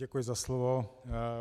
Děkuji za slovo.